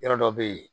Yɔrɔ dɔ bɛ yen